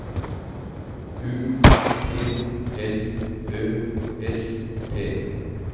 U T L Ø S T